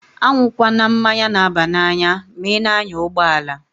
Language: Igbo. A nwukwana mmanya na-aba n'anya ma i na-anya ụgbọalaǃ